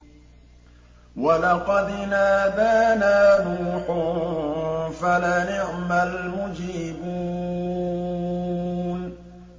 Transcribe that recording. وَلَقَدْ نَادَانَا نُوحٌ فَلَنِعْمَ الْمُجِيبُونَ